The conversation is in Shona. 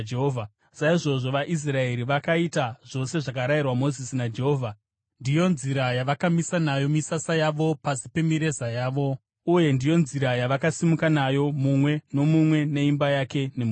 Saizvozvo vaIsraeri vakaita zvose zvakarayirwa Mozisi naJehovha; ndiyo nzira yavakamisa nayo misasa yavo pasi pemireza yavo, uye ndiyo nzira yavakasimuka nayo, mumwe nomumwe neimba yake nemhuri yake.